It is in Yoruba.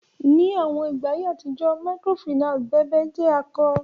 Ni awọn igba atijọ Microfinance bèbe jẹ ako.